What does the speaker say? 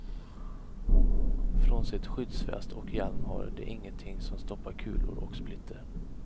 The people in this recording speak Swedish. Frånsett skyddsväst och hjälm har de ingenting som stoppar kulor och splitter.